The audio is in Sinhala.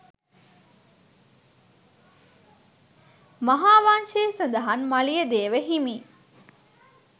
මහාවංශයේ සඳහන් මලියදේව හිමි